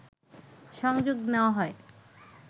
সংযোগ নেওয়া হয়